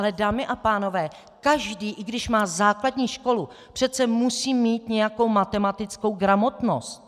Ale dámy a pánové, každý, i když má základní školu, přece musí mít nějakou matematickou gramotnost.